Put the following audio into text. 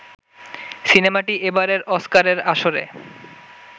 সিনেমাটি এবারের অস্কারের আসরে